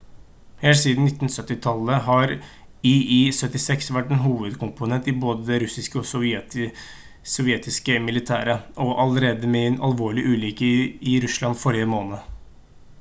helt siden 1970-tallet har il-76 vært en hovedkomponent i både det russiske og sovjetiske militæret og var allerede med i en alvorlig ulykke i russland forrige måned